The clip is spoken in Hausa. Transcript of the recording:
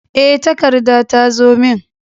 E, takarda ta zo min.